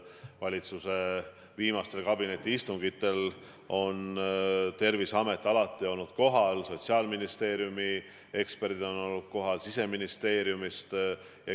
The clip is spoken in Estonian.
Valitsuse viimastel kabinetiistungitel on Terviseamet alati kohal olnud, Sotsiaalministeeriumi eksperdid on kohal olnud, samuti inimesed Siseministeeriumist.